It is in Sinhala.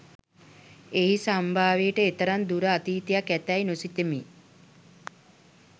එහි සම්භවයට එතරම් දුර අතීතයක් ඇතැයි නොසිතමි